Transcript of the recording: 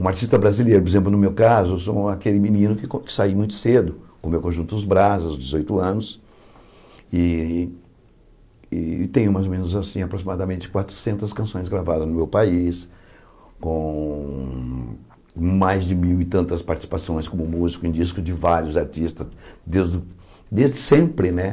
Um artista brasileiro, por exemplo, no meu caso, eu sou aquele menino que saí muito cedo, com meu conjunto Os Brazos, dezoito anos, e tenho mais ou menos assim aproximadamente quatrocentas canções gravadas no meu país, com mais de mil e tantas participações como músico em discos de vários artistas, desde sempre, né?